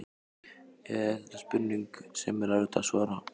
Eða er þetta spurning sem er erfitt að svara?